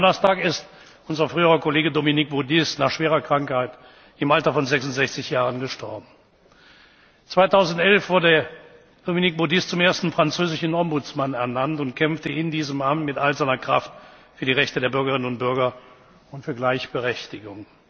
Am vergangenen Donnerstag ist unser früherer Kollege Dominique Baudis nach schwerer Krankheit im Alter von 66 Jahren gestorben. 2011 wurde Dominique Baudis zum ersten französischen Ombudsmann ernannt und kämpfte in diesem Amt mit all seiner Kraft für die Rechte der Bürgerinnen und Bürger und für Gleichberechtigung.